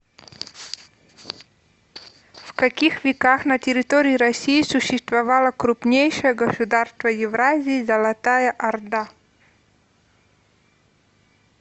в каких веках на территории россии существовало крупнейшее государство евразии золотая орда